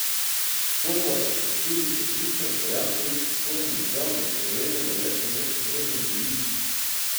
Horvat je tudi prepričan, da Janković s svojimi izjavami Slovenijo le po nepotrebnem deli.